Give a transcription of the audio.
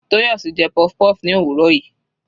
Toyosi jẹ puff-puff ní òwúrọ̀ yìí.